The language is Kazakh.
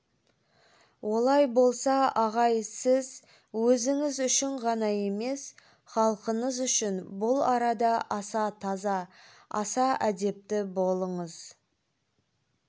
олай болса ағай сіз өзіңіз үшін ғана емес халқыңыз үшін бұл арада аса таза аса әдепті болыңыз